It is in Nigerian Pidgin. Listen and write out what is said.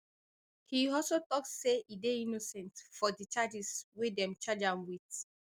e also tok say e dey innocent for di charges wey dem charge am wit